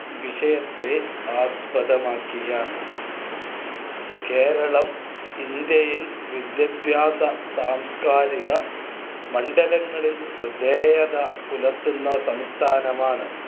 വിഷയത്തെ ആസ്പദമാക്കിയാണ്. കേരളം ഇന്ത്യയിൽ വിദ്യാഭ്യാസ, സാംസ്കരിക മണ്ഡലങ്ങളിൽ ശ്രദ്ധേയത പുലർത്തുന്ന സംസ്ഥാനമാണ്.